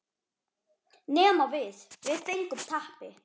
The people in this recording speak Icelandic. Nema við, við fengum teppi.